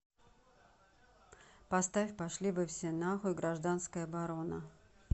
поставь пошли вы все на хуй гражданская оборона